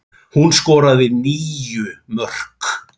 Hún skoraði níu mörk.